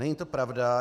Není to pravda.